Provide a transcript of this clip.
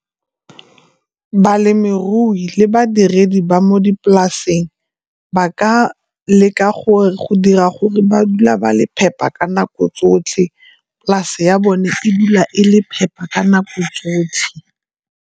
Balemirui le badiredi ba mo dipolaseng ba ka le ka gore go dira gore ba dula ba le phepa ka nako tsotlhe, polase ya bone e dula e le phepa ka nako tsotlhe.